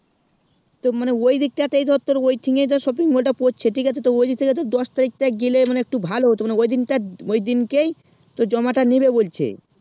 তো মানে ঐইদিকই তা ধর তোর ঐই thing এ যা shopping mall তা পড়ছে ঠিক আছে তো ঐইদিক থেকে তুই দশ তারিক তা গেলে মানে একটু ভালো হতো মানে ঐইদিনকার ঐই দিনকে ই তোর জমা তা নিবে বলছে